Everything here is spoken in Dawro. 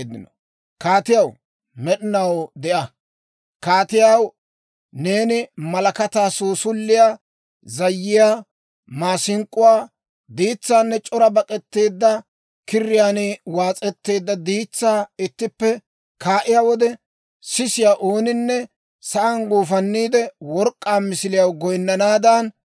Kaatiyaw, neeni malakataa, suusuliyaa, zayyiyaa, maasink'k'uwaa, diitsaanne c'ora bak'etteedda kiriyaan waas'etteedda diitsaa ittippe kaa'iyaa wode, sisiyaa ooninne sa'aan guufanniide, work'k'aa misiliyaw goyinnanaadan,